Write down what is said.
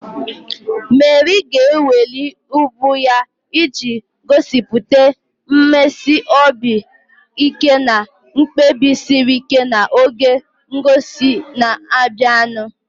Meri ga-eweli ubu ya iji gosipụta mmesi obi ike na mkpebi siri ike n'oge ngosi na-abịanụ.